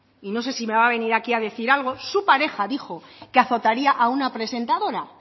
y no sé si me va a venir aquí a decir algo su pareja dijo que azotaría a una presentadora